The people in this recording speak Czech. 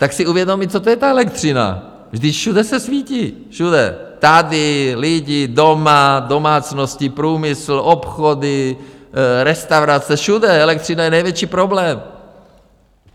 Tak si uvědomme, co to je ta elektřina, když všude se svítí, všude, tady, lidi, doma, domácnosti, průmysl, obchody, restaurace, všude - elektřina je největší problém.